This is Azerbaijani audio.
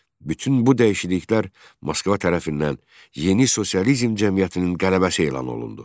Bütün bu dəyişikliklər Moskva tərəfindən yeni sosializm cəmiyyətinin qələbəsi elan olundu.